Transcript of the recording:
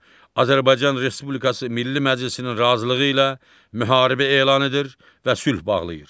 Azərbaycan Respublikası Milli Məclisinin razılığı ilə müharibə elan edir və sülh bağlayır.